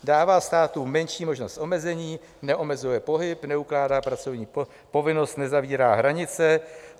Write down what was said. Dává státu menší možnost omezení, neomezuje pohyb, neukládá pracovní povinnost, nezavírá hranice.